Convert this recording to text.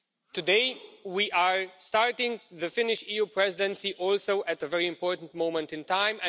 Today, we are also starting the Finnish EU Presidency at a very important moment in time.